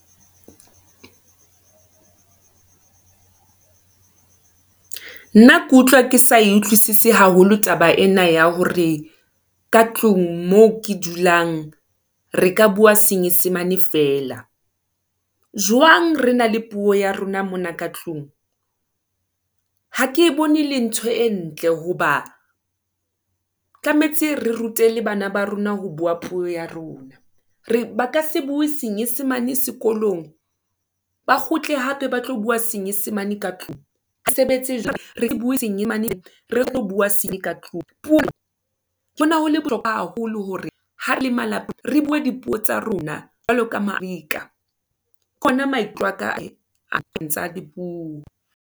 Nna ke utlwa ke sa e utlwisise haholo taba ena ya hore, ka tlung moo, ke dulang re ka bua senyesemane fela, jwang re na le puo ya rona mona ka tlung. Ha ke e bone le ntho e ntle hoba, tlametse re rute le bana ba rona, ho bua puo ya rona. ba ka se bue senyesemane sekolong, ba kgutle hape ba tlo bua senyesemane ka tlung, ha e sebetse jwalo, re bue re tlo bua ka tlung. Pou ho ne ho le bohlokoa haholo, hore ha re le re bue dipuo tsa rona, jwalo ka , ke ona maikutlo aka, dipuo.